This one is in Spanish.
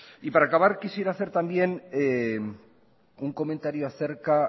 y para acabar quisiera hacer también un comentario acerca